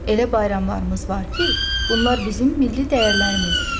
Elə bayramlarımız var ki, bunlar bizim milli dəyərlərimizdir.